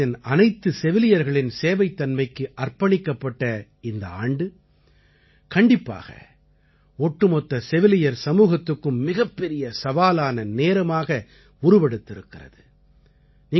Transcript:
உலகத்தின் அனைத்து செவிலியர்களின் சேவைத்தன்மைக்கு அர்ப்பணிக்கப்பட்ட இந்த ஆண்டு கண்டிப்பாக ஒட்டுமொத்த செவிலியர் சமூகத்துக்கும் மிகப்பெரிய சவாலான நேரமாக உருவெடுத்திருக்கிறது